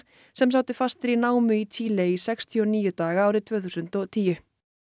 sem sátu fastir í námu í Chile í sextíu og níu daga árið tvö þúsund og tíu